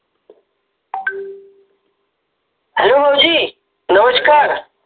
hello भाऊजी नमस्कार